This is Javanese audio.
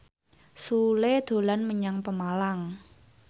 Sule dolan menyang Pemalang